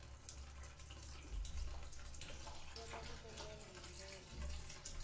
kota ku kongoma hi ndlela